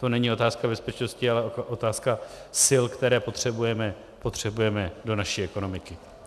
To není otázka bezpečnosti, ale otázka sil, které potřebujeme do naší ekonomiky.